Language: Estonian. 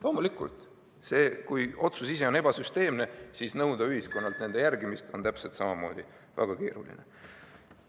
Loomulikult, kui otsus ise on ebasüsteemne, siis nõuda ühiskonnalt selle järgimist on samamoodi väga keeruline.